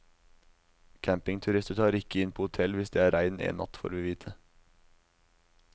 Campingturister tar ikke inn på hotell hvis det er regn en natt, får vi vite.